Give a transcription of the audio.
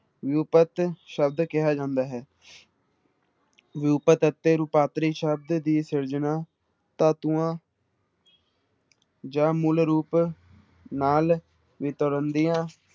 ਵਿਊਪਤ ਸ਼ਬਦ ਕਿਹਾ ਜਾਂਦਾ ਹੈ ਵਿਊਪਤ ਅਤੇ ਰੂਪਾਂਤਰੀ ਸ਼ਬਦ ਦੀ ਸਿਰਜਣਾ ਧਾਤੂਆਂ ਜਾਂ ਮੂਲ ਰੂਪ ਨਾਲ ਵਿਤਰਨ ਦੀਆਂ